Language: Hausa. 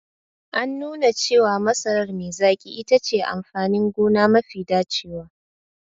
An nuna cewa masarar me zaƙi itace amfanin gona mafi dacewa.